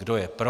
Kdo je pro?